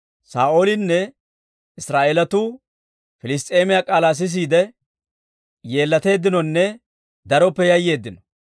Saa'oolinne Israa'eelatuu Piliss's'eemiyaa k'aalaa sisiide, yeellateeddinonne daroppe yayyeeddino.